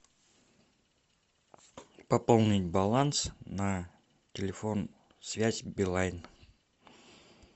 пополнить баланс на телефон связь билайн